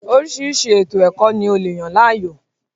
Oríṣiríṣi ètò-ẹ̀kọ́ ni o le yàn láàyò.